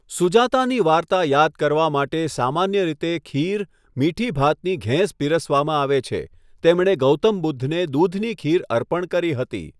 સુજાતાની વાર્તા યાદ કરવા માટે સામાન્ય રીતે ખીર, મીઠી ભાતની ઘેંસ પીરસવામાં આવે છે, તેમણે ગૌતમ બુદ્ધને દૂધની ખીર અર્પણ કરી હતી.